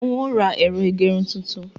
N ó ra ẹ̀rọ ìgerun tuntun.